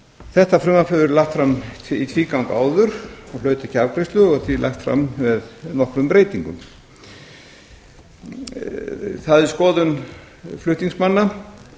þetta frumvarp hefur verið lagt fram í tvígang áður og hlaut ekki afgreiðslu og er því lagt fram með nokkrum breytingum það er skoðun flutningsmanna